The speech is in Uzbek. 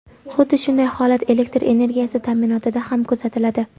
Xuddi shunday holat elektr energiyasi ta’minotida ham kuzatiladi.